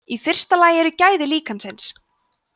í fyrsta lagi eru gæði líkansins